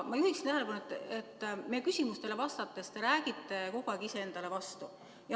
Ma juhin tähelepanu, et meie küsimustele vastates te räägite kogu aeg iseendale vastu.